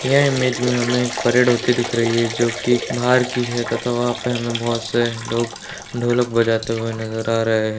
यह इमेज में हमें एक परेड होती हुई दिख रही है जो कि बाहर की है तथा वहाँ पे हमें बहुत से लोग ढोलक बजाते हुए नजर आ रहे --